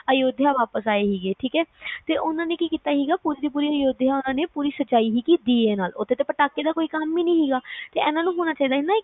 ਅਯੋਧਿਆ ਵਾਪਸ ਆਏ ਸੀ ਠੀਕ ਹੈ ਉਨ੍ਹਾਂ ਨੇ ਕਿ ਕੀਤਾ ਸੀਗਾ ਤੇ ਉਨ੍ਹਾਂ ਨੇ ਕਿ ਕੀਤਾ ਸੀਗੀ ਪੁਰੀ ਦੀ ਪੁਰ ਅਯੋਧਿਆ ਸਜਾਈ ਸੀਸੀਗੀ ਦੀਏ ਨਾਲ ਉਥੇ ਤਾ ਪਟਾਕੇ ਦਾ ਕੋਈ ਕੰਮ ਹੀ ਨੀ ਸੀਗਾ, ਤੇ ਹੋਣਾ ਨੂੰ ਹੋਣਾ ਚਾਹੀਦਾ